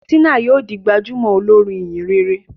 Tina yíò dì gbajúmò olorin ìhìnrere